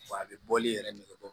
Wa a bɛ bɔli yɛrɛ nɛgɛbe